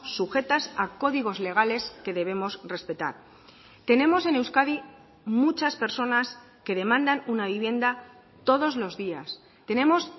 sujetas a códigos legales que debemos respetar tenemos en euskadi muchas personas que demandan una vivienda todos los días tenemos